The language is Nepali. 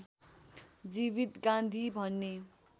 जीवित गान्धी भन्ने